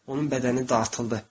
Onun bədəni dartıldı.